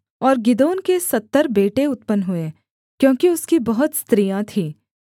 और गिदोन के सत्तर बेटे उत्पन्न हुए क्योंकि उसकी बहुत स्त्रियाँ थीं